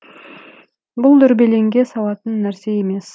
бұл дүрбелеңге салатын нәрсе емес